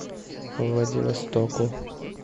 владивостоку